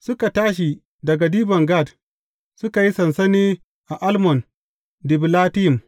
Suka tashi daga Dibon Gad, suka yi sansani a Almon Dibilatayim.